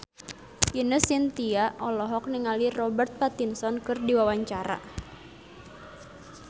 Ine Shintya olohok ningali Robert Pattinson keur diwawancara